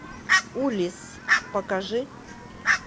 улисс покажи